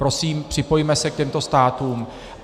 Prosím, připojme se k těmto státům.